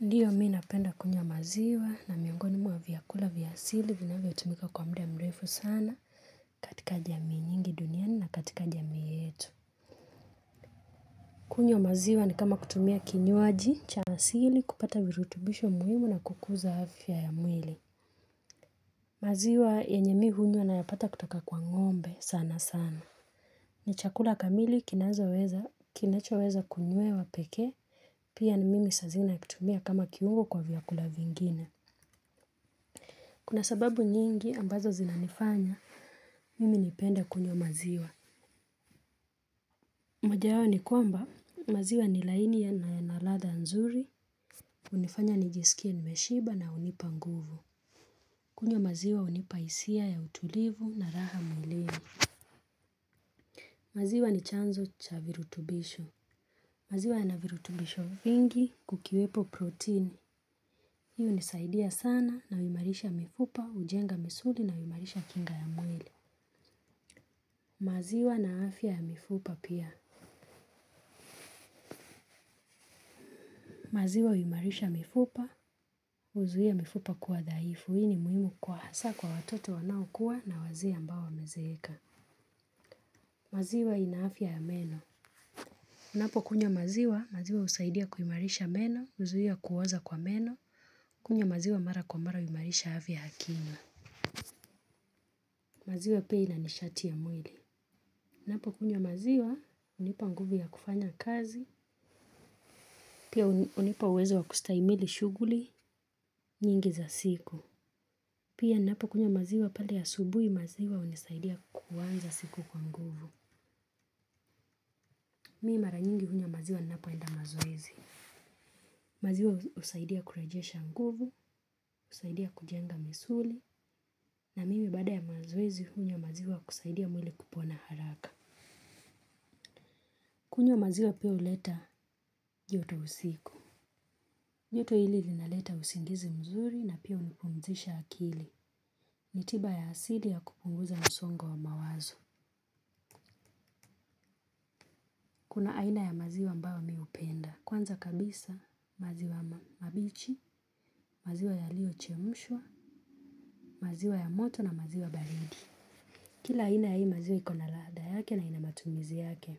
Ndiyo mi napenda kunywa maziwa na miongoni mwa vyakula vya asili vinavyotumika kwa mda mrefu sana katika jamii nyingi duniani na katika jamii yetu. Kunywa maziwa ni kama kutumia kinywaji cha asili kupata virutubisho muhimu na kukuza afya ya mwili. Maziwa yenye mi hunywa nayapata kutoka kwa ng'ombe sana sana. Ni chakula kamili kinazo weza kinacho weza kunywewa pekee pia ni mimi saa zingine nakitumia kama kiungo kwa vyakula vingine. Kuna sababu nyingi ambazo zinanifanya, mimi nipende kunywa maziwa. Moja yao ni kwamba, maziwa ni laini yana na yana ladha nzuri, hunifanya nijisikie nimeshiba na hunipa nguvu. Kunywa maziwa hunipa hisia ya utulivu na raha mwilini. Maziwa ni chanzo cha virutubisho. Maziwa yana virutubisho vingi kukiwepo protini. Hii hunisaidia sana na huimarisha mifupa, ujenga misuli na huimarisha kinga ya mwili. Maziwa na afya ya mifupa pia maziwa uimarisha mifupa, uzuia mifupa kuwa dhaifu, hii ni muhimu kwa hasa kwa watoto wanaokuwa na wazee ambao wamezeeka. Maziwa ina afya ya meno unapokunywa maziwa, maziwa usaidia kuimarisha meno, uzuia kuoza kwa meno, kunywa maziwa mara kwa mara uimarisha afya ya kinywa. Maziwa pia ina nishati ya mwili unapokunywa maziwa, unipa nguvu ya kufanya kazi pia uni unipa uwezo wa kustahimili shughuli nyingi za siku. Pia ninapokunywa maziwa pale asubuhi maziwa hunisaidia kuuanza siku kwa nguvu. Mi mara nyingi hunywa maziwa ninapoenda mazoezi. Maziwa hu husaidia kurajesha nguvu, usaidia kujenga misuli. Na mimi baaada ya mazoezi hunywa maziwa kusaidia mwili kupona haraka. Kunywa maziwa pia huleta joto usiku. Joto hili linaleta usingizi mzuri na pia unipumzisha akili. Ni tiba ya asili ya kupunguza msongo wa mawazo. Kuna aina ya maziwa ambayo mi upenda. Kwanza kabisa, maziwa ma mabichi, maziwa yaliyo chemushwa, maziwa ya moto na maziwa baridi. Kila aina ya hii maziwa ikona laada yake na ina matumizi yake.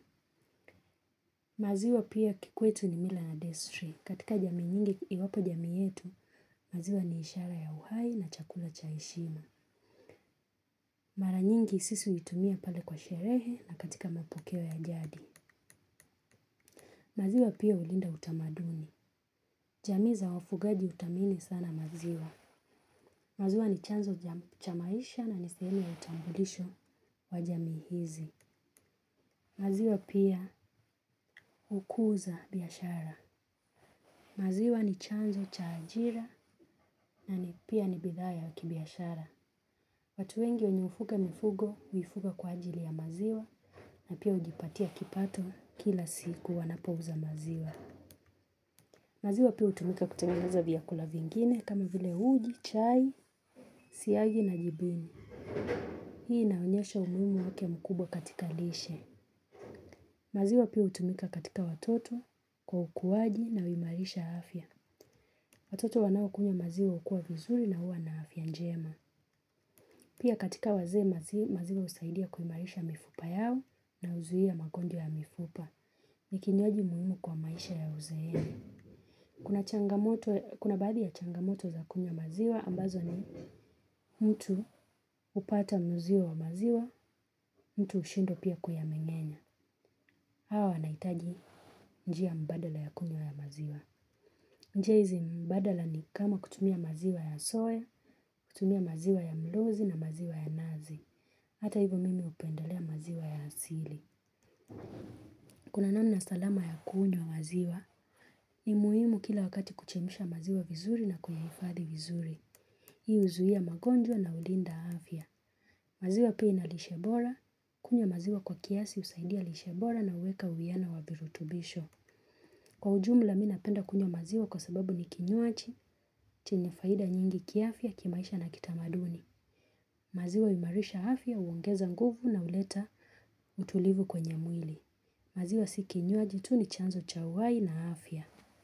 Maziwa pia kikwetu ni mila na destri. Katika jamii nyingi iwapo jamii yetu, maziwa ni ishara ya uhai na chakula cha heshima. Mara nyingi sisi huitumia pale kwa sherehe na katika mapokeo ya jadi. Maziwa pia hulinda utamaduni. Jamii za wafugaji utamini sana maziwa. Maziwa ni chanzo cha cha maisha na ni sehemu ya utambulisho wa jamii hizi. Maziwa pia hukuza biashara. Maziwa ni chanzo cha ajira na ni pia ni bidhaa ya kibiashara. Watu wengi wenye hufuga mifugo, huifuga kwa ajili ya maziwa na pia ujipatia kipato kila siku wanapouza maziwa. Maziwa pia hutumika kutengeneza vyakula vingine kama vile uji, chai, siagi na jibini. Hii inaonyesha umuhimu wake mkubwa katika lishe. Maziwa pia utumika katika watoto kwa ukuaji na uimarisha afya. Watoto wanaokunywa maziwa ukua vizuri na huwa na afya njema. Pia katika wazee mazi, maziwa husaidia kuimarisha mifupa yao na huzuia magonjwa ya mifupa. Nikinywaji muhimu kwa maisha ya uzeeni kuna changamoto. Kuna baadhi ya changamoto za kunywa maziwa, ambazo ni mtu upata muziwa wa maziwa, mtu hushindwa pia kuyamengenya. Hawa wanaitaji njia mbadala ya kunywa maziwa. Njia hizi mbadala ni kama kutumia maziwa ya soy, kutumia maziwa ya mluzi na maziwa ya nazi. Hata hivyo mimi upendalea maziwa ya asili. Kuna namna salama ya kunywa maziwa, ni muhimu kila wakati kuchemisha maziwa vizuri na kuyaifadhi vizuri. Hii huzuia magonjwa na ulinda afya. Maziwa pia ina lishe bora, kunywa maziwa kwa kiasi usaidia lishe bora na huweka uwiano wavirutubisho. Kwa ujumla mi napenda kunywa maziwa kwa sababu ni kinywaji, chenye faida nyingi kiafya, kimaisha na kitamaduni. Maziwa uimarisha afya, uongeza nguvu na uleta utulivu kwenye mwili. Maziwa si kinywaji tu ni chanzo cha uhai na afya.